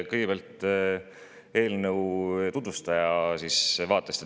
Kõigepealt eelnõu tutvustaja vaatest.